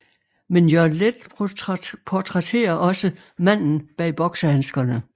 Men Jørgen Leth portrætterer også manden bag boksehandskerne